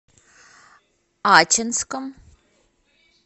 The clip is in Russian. ачинском